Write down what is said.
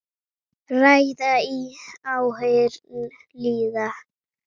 Ræða í áheyrn lýða.